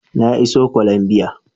Na iso Colombia